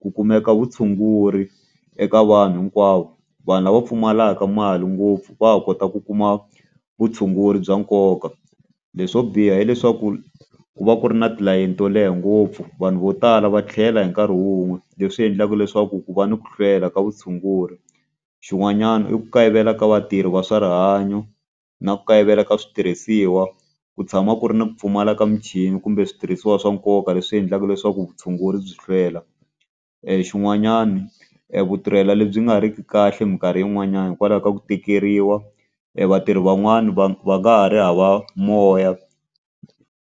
Ku kumeka vutshunguri eka vanhu hinkwavo. Vanhu lava pfumalaka mali ngopfu va ha kota ku kuma vutshunguri bya nkoka. Leswo biha hileswaku ku va ku ri na tilayini to leha ngopfu. Vanhu vo tala va tlhela hi nkarhi wun'we leswi endlaka leswaku ku va ni ku hlwela ka vutshunguri. Xin'wanyana i ku kayivela ka vatirhi va swa rihanyo, na ku kayivela ka switirhisiwa, ku tshama ku ri ni ku pfumala ka michini, kumbe switirhisiwa swa nkoka. Leswi endlaka leswaku vutshunguri byi hlwela. Xin'wanyana e vutirheli lebyi nga riki kahle minkarhi yin'wanyani hikwalaho ka ku tikeriwa, e vatirhi van'wani va va nga ha ri hava moya.